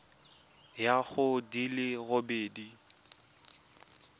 ya go di le robedi